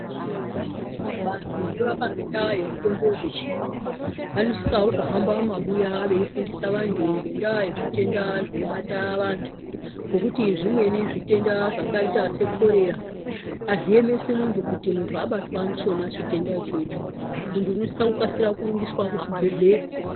Vantu vanorapa ngendaa dzemitombo dzezviyungu vanisisarawo kuhamba mumabuya veifundisa anhu ngendaa yezvitenda zvinobata vanhu ngokuti zvimweni zvitenda zvakaita sekorera hazviemesi muntu kuti muntu abatwa ndichona chitenda ichocho muntu unosisa kurumbiswa kuchibhehlera